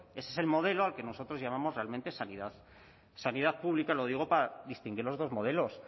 ese es el modelo al que nosotros llamamos realmente sanidad sanidad pública lo digo para distinguir los dos modelos